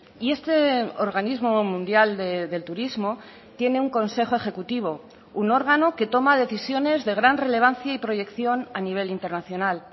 y este organismo mundial del turismo tiene un consejo ejecutivo un órgano que toma decisiones de gran relevancia y proyección a nivel internacional